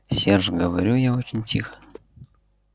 серж говорю я очень тихо